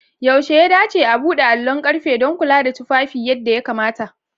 Yaushe ya dace a buɗe allon ƙarfe don kula da tufafi yadda ya kamata?